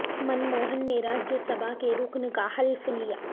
منموہن نے راجیہ سبھا کے رکن کا حلف لیا